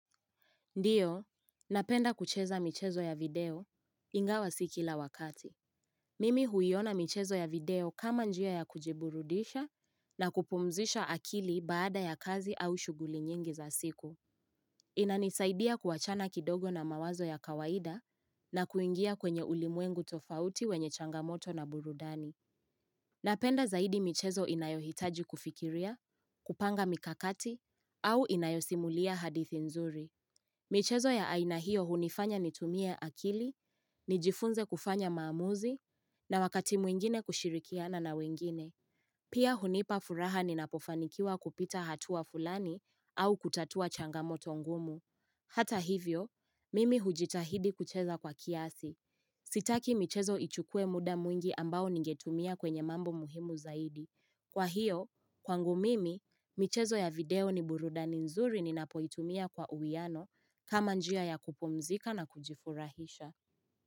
Ndio, napenda kucheza michezo ya video ingawa sikila wakati. Mimi huiona michezo ya video kama njia ya kujiburudisha na kupumzisha akili baada ya kazi au shughuli nyingi za siku. Inanisaidia kuachana kidogo na mawazo ya kawaida na kuingia kwenye ulimwengu tofauti wenye changamoto na burudani. Napenda zaidi michezo inayohitaji kufikiria, kupanga mikakati au inayosimulia hadithi nzuri. Michezo ya aina hiyo hunifanya nitumie akili, nijifunze kufanya maamuzi, na wakati mwingine kushirikiana na wengine. Pia hunipa furaha ninapofanikiwa kupita hatua fulani au kutatua changamo tongumu. Hata hivyo, mimi hujitahidi kucheza kwa kiasi. Sitaki michezo ichukue muda mwingi ambao ningetumia kwenye mambo muhimu zaidi. Kwa hiyo, kwangu mimi, michezo ya video ni burudani nzuri ninapoitumia kwa uwiano kama njia ya kupumzika na kujifurahisha.